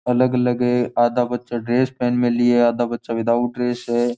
अलग अलग है आधा बच्चा ड्रेस पेहेन मिली है आधा बच्चा विथाउट ड्रेस है।